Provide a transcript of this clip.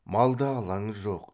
малда алаңы жоқ